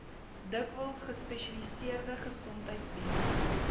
dikwels gespesialiseerde gesondheidsdienste